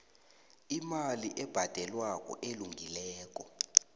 imali ebhadelwako elungileko